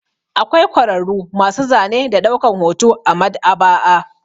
Akwai kwararru masu zane da ɗaukan hoto a Maɗ'aba'a.